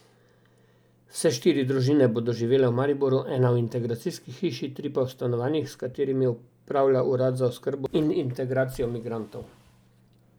Vse štiri družine bodo živele v Mariboru, ena v integracijski hiši, tri pa v stanovanjih, s katerimi upravlja urad za oskrbo in integracijo migrantov.